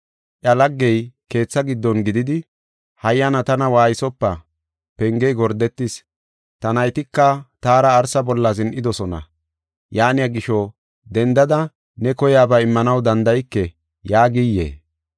“Iya laggey keetha giddon gididi, ‘Hayyana tana waaysopa, pengey gordetis. Ta naytika taara arsa bolla zin7idosona. Yaaniya gisho, dendada ne koyaba immanaw danda7ike’ yaagiyee?